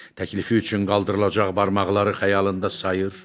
Təklifi üçün qaldırılacaq barmaqları xəyalında sayır.